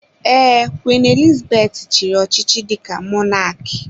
Ee, Queen Elizabeth chiri ọchịchị dika mọnak